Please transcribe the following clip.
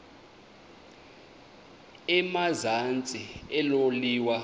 emazantsi elo liwa